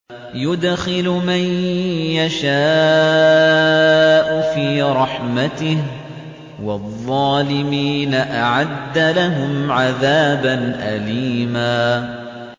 يُدْخِلُ مَن يَشَاءُ فِي رَحْمَتِهِ ۚ وَالظَّالِمِينَ أَعَدَّ لَهُمْ عَذَابًا أَلِيمًا